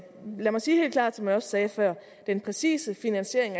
lad mig sige helt klart som jeg også sagde før at den præcise finansiering